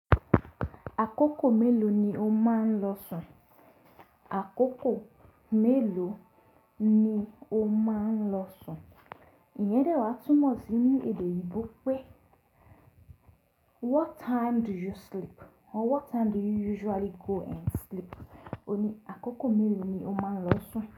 Àkókò mélòó ni o máa ń lọ sùn? Àkókò mélòó ni o máa ń lọ sùn? Iyẹn dẹ́ wa túmọ̀ sí ní èdè ìgbò pé what time do you sleep? Or what time do you usually go and sleep? Ó ní àkókò mélòó ni o máa ń lọ sùn.